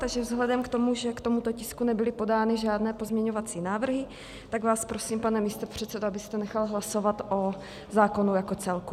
Takže vzhledem k tomu, že k tomuto tisku nebyly podány žádné pozměňovací návrhy, tak vás prosím, pane místopředsedo, abyste nechal hlasovat o zákonu jako celku.